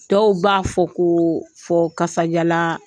Dɔw b'a fɔ ko fo kasajalaaa